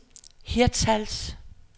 Hirtshals